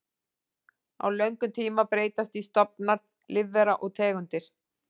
Á löngum tíma breytast því stofnar lífvera og tegundir.